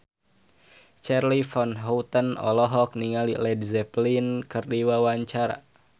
Charly Van Houten olohok ningali Led Zeppelin keur diwawancara